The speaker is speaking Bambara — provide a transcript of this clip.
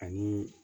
Ani